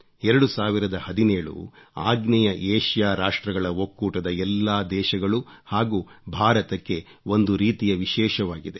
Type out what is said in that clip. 2017 ಆಗ್ನೇಯ ಏಷ್ಯಾ ರಾಷ್ಟ್ರಗಳ ಒಕ್ಕೂಟದ ಎಲ್ಲಾ ದೇಶಗಳು ಹಾಗೂ ಭಾರತಕ್ಕೆ ಒಂದು ರೀತಿಯ ವಿಶೇಷವಾಗಿದೆ